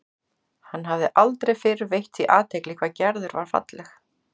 Hann hafði aldrei fyrr veitt því athygli hvað Gerður var falleg.